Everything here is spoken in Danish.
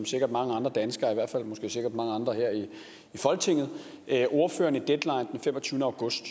sikkert mange andre danskere i hvert fald sikkert mange andre her i folketinget ordføreren i deadline den femogtyvende august